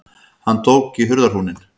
Hann tók í hurðarhúninn.